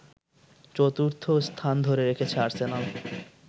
চতুর্থ স্থান ধরে রেখেছে আর্সেনাল